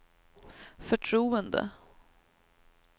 förtroende